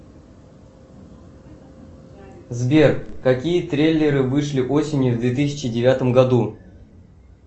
сбер какие трейлеры вышли осенью в две тысячи девятом году